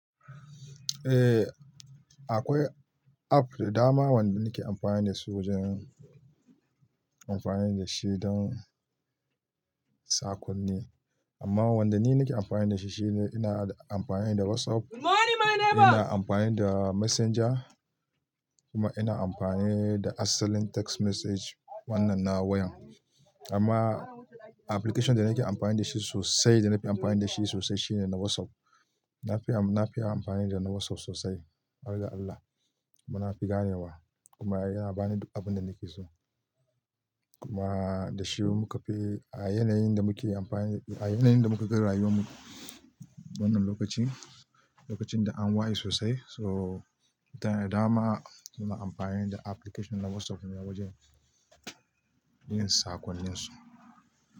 Eh, akwai app dama wanda nake amfani da su wajen amfani da shaidan saƙonni. Amma wanda ni nake amfani da shi shi ne ina amfani da WhatsApp, ina amfani da Messenger kuma ina amfani da asalin text message wannan na wayan. Amma application da nake amfani da shi sosai, da na fi amfani da shi sosai shine na WhatsApp. Na fi, na fi amfani da na WhatsApp sosai. Har ga Allah, muna fi ganewa kuma yana bani abin da nake so. Kuma da shi muka fi a yanayin da muke amfani, a yanayin da muke garayunmu wannan lokacin, lokacin da an waye sosai. So, mutane da dama muna amfani da application na WhatsApp ne wajen yin saƙonninsu.